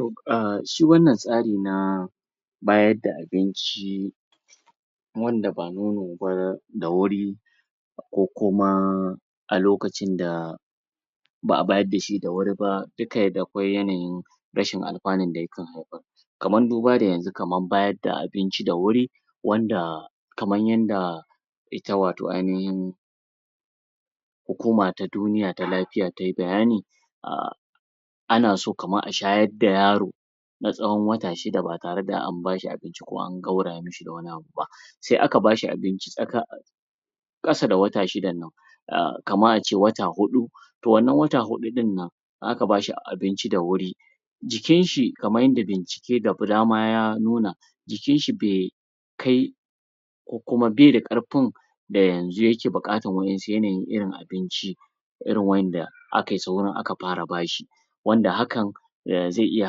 um Shi wannan tsari na bayar da abinci wanda ba nono ba da wuri ko kuma a lokacin da ba'a bayar da shi da wuri ba dukka dakwai yanayin rashin alfanu da ya kan haifar. Kaman duba da yanzu kaman bayar da abinci da wuri wanda kaman yanda ita wato ainihin hukuma ta duniya ta lafiya tayi bayani um ana so kaman a shayar da yaro na tsawon wata shida ba tareda an bashi abinci ko an gauraya mishi da wani abu ba. Sai aka bashi abinci tsakan kasa da wata shidannan kaman ace wata hudu toh wannan wata hudunnan in aka bashi abinci da wuri jikin shi kaman yanda bincike da dama ya nuna jikin shi bai kai ko kuma bai da karfin da yanzu yake bukatan wadansu yanayin irin abinci irin wadanda akayi saurin fara bashi wanda hakan zai iya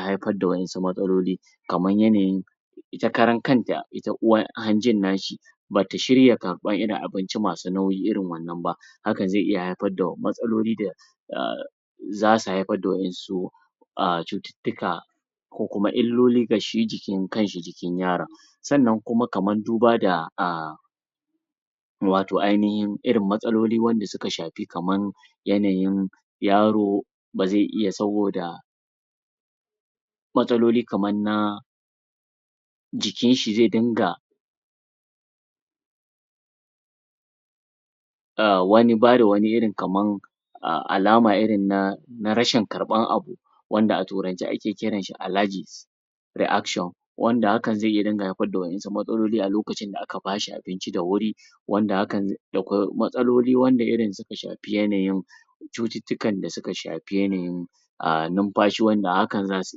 haifar da wasu matsaloli kaman yanayin ita karan kanta ita hanjin nashi bata shirya karban irin abinci masu nauyi irin wannan ba Hakan zai iya haifar da matsaloli da um za su haifar da wasu []um cututtuka ko kuma illoli ga shi kanshi jikin yaron. Sannan kuma kaman duba da wato ainihin irin matsaloli wanda suka shafi kaman yanayin yaro ba zai iya saboda matsaloli kaman na jikin shi zai dinga bada wani irin kaman alama irin na rashin karban abu wanda a turance ake kiran shi allergy reaction. Wanda hakan zai dinga haifar da wasu matsaloli a lokacin da aka bashi abinci da wuri wanda akwai matsaloli wanda irin suka shafi yanayin cututukan da suka shafi yanayin numfashi wanda hakan za su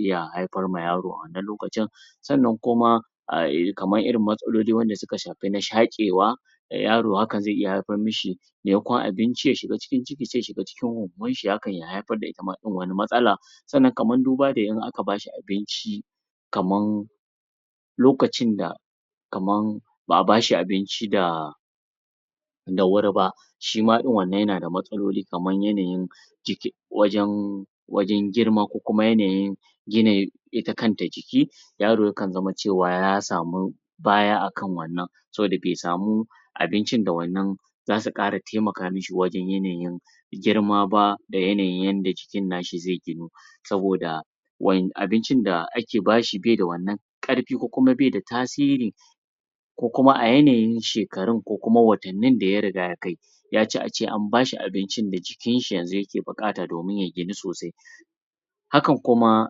iya haifar ma yaro a wannan lokacin. Sannan kuma kaman irin matsaloli wanda suka shafi na shakewa yaro haka zai haifar mishi maimakon abinci ya shiga cikin ciki sai ya shiga cikin hohon shi wanda haka zai iya haifar da wani matsala sannan kaman duba da idan aka bashi abinci kaman lokacin da kaman ba'a bashi abinci da da wuri ba shi ma din wannan yanada matsaloli kaman yanayin wajen wajen girma ko kuma yanayin yanayin ita kanta jiki yaro ya kan zamo cewa ya samu baya a kan wannan saboda bai samu abincin da wannan za su kara taimaka mishi wajen yanayin girma ba da yanayin yanda jikin na shi zai ginu. saboda abincin da ake ba shi baida wannan karfi ko kuma baida tasiri ko kuma a yanayin shekarun ko kuma watannin da ya riga ya kai ya ci ace an bashi abincin da jikin shi yanzu ya ke bukata domin ya ginu sosai hakan kuma,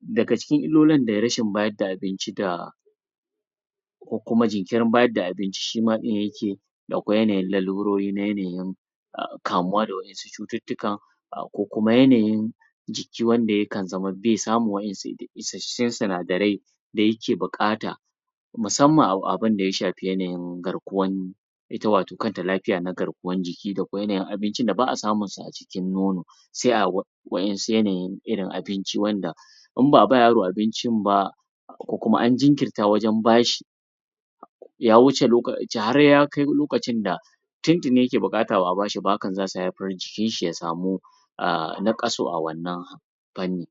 daga cikin illolin da rashin bayar da abinci da ko kuma jinkirin bayar da abinci shima din ya ke da kwai yanayin lalurori na yanayin kamuwa da wasu cututtukan ko kuma yanayin jiki wanda yakan zama bai samun wasu isassun sinadare da yake bukata musamman a abin da ya shafi yanayin garkuwan ita wato kanta lafiya na garkuwan jiki da kwai yanayin abinci wanda ba'a samun su a cikin nono sai a wadansu yanayin abinci wanda idan ba a ba yaro abincin ba ko kuma an jinkirta wajen bashi ya wuce har ya kai lokacin da tuntuni ya ke bukata ba a bashi ba hakan za su haifar jikin shi ya sa mu nakasu a wannan fannin.